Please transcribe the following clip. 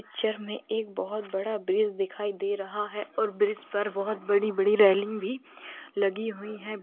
Picture में एक बहुत बड़ा ब्रिज दिखाई दे रहा है और ब्रिज पर बहुत बड़ी-बड़ी रेलिंग भी लगी हुई हैं।